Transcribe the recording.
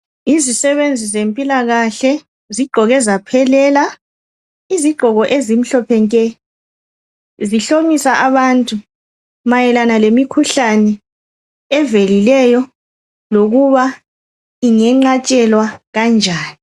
Izisebenzi zempilakahle zigqoke zaphelela izigqoko ezimhlophe nke. Zihlomisa abantu mayelana ngemikhuhlane evelilelo lokuba ingenqatshelwa kanjani.